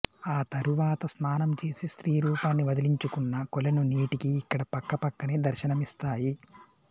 ఆ తరువాత స్నానం చేసి స్త్రీ రూపాన్ని వదిలించుకున్న కొలను నేటికీ ఇక్కడ పక్కపక్కనే దర్శనమిస్తాయి